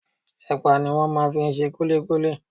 Ẹ̀pà ni wọ́n máa ń fi ń ṣe kullíkúlí.